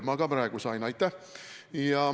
Ma ka praegu sain – aitäh!